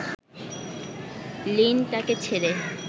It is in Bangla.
লিন তাকে ছেড়ে